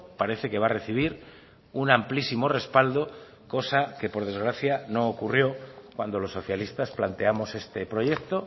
parece que va a recibir un amplísimo respaldo cosa que por desgracia no ocurrió cuando los socialistas planteamos este proyecto